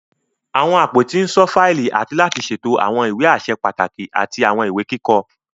Àwọn àpótí n ṣọ fáìlì àti láti ṣètò àwọn ìwé aṣẹ pàtàkì àti àwọn ìwé kíkọ.